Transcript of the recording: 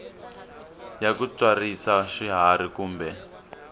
ya ku tswarisa swiharhi kumbe